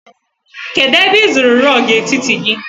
Kedụ ebe ị zụrụ rọọgụ etiti gị?